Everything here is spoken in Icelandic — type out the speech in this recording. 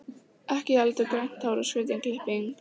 Ekki heldur grænt hár og skrýtin klipping.